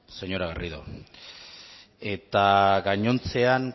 señora garrido eta gainontzean